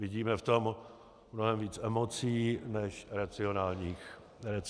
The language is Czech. Vidíme v tom mnohem více emocí než racionálních úvah.